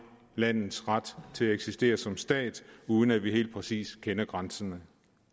landets ret til at eksistere som stat uden at vi helt præcis kender grænserne